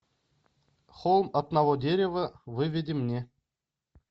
холм одного дерева выведи мне